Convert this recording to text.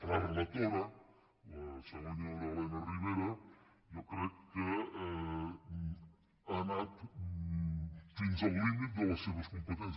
la relatora la senyora elena ribera jo crec que ha anat fins al límit de les seves competències